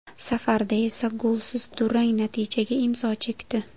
Safarda esa golsiz durang natijaga imzo chekdi.